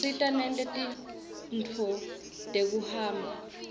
usita nete tintfueni tekuhamba